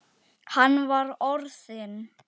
Hann var orðinn.